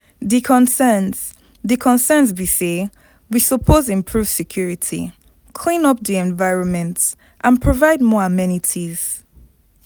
di concerns di concerns be say we suppose improve security, clean up di environment and provide more amenities.